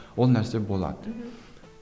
ол нәрсе болады мхм